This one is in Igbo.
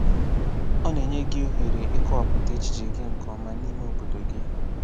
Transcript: Ọ na-enye gị ohere ịkọwapụta echiche gị nke ọma n’ime obodo gị.